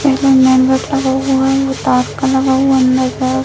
इधर main gate लगा हुआ है वो तार का लगा हुआ है अंदर तरफ --